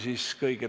Nii see ongi.